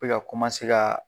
Be ka kaa